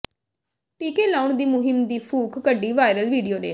ਟੀਕੇ ਲਾਉਣ ਦੀ ਮੁਹਿੰਮ ਦੀ ਫੂਕ ਕੱਢੀ ਵਾਇਰਲ ਵੀਡੀਓ ਨੇ